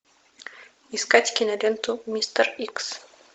искать киноленту мистер икс